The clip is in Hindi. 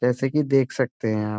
जैसे की देख सकते है आप।